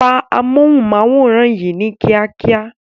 Pa amóhùnmáwòrán yìí ní kíákíá